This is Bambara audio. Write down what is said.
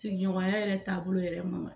Sigiɲɔgɔnya yɛrɛ taabolo yɛrɛ